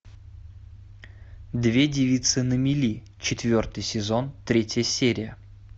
две девицы на мели четвертый сезон третья серия